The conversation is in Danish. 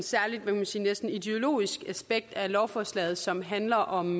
særligt man kan sige næsten ideologisk aspekt af lovforslaget som handler om